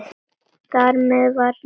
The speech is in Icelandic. Þar með var nafnið komið.